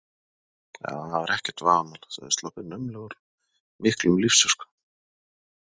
Já, það var ekkert vafamál, þeir höfðu sloppið naumlega úr miklum lífsháska.